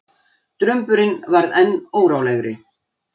Drumburinn varð enn órólegri.